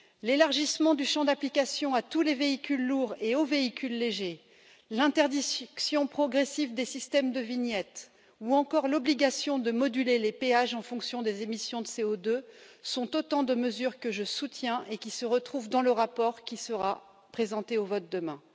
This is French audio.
L'élargissement du champ d'application à tous les véhicules lourds et aux véhicules légers, l'interdiction progressive des systèmes de vignette ou encore l'obligation de moduler les péages en fonction des émissions de CO2, sont autant de mesures que je soutiens et qui se retrouvent dans le rapport qui sera présenté au vote demain.